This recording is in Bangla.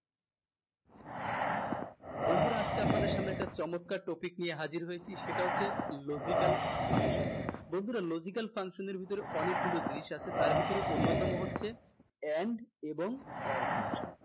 বন্ধুরা আজকে আপনাদের সামনে একটা চমৎকার topic নিয়ে হাজির হয়েছি সেটা হচ্ছে logical function বন্ধুরা logical এর ভিতরে অনেকগুলা জিনিস আছে তার ভিতরে অন্যতম হচ্ছে and এবং or function